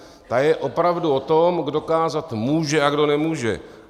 Ta je opravdu o tom, kdo kázat může a kdo nemůže.